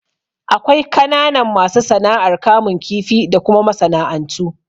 Akwai kananan masu sana'ar kamun kifi da kuma masana'antu.